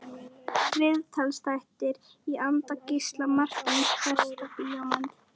Viðtalsþættir í anda Gísla Marteins Besta bíómyndin?